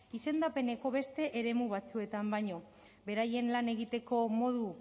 izendapeneko beste eremu batzuetan baino beraien lan egiteko modu